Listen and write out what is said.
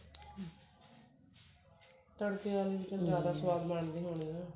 ਤੜਕੇ ਵਾਲੀ ਜਿਆਦਾ ਸਵਾਦ ਬਣਦੀ ਹੋਣੀ ਆ